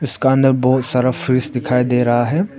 इसका अंदर बहुत सारा फ्रिज दिखाई दे रहा है।